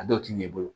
A dɔw ti ɲɛ i bolo